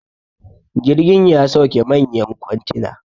jirgin ya sauke manyan kwantina